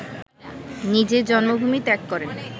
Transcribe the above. নিজের জন্মভূমি ত্যাগ করেন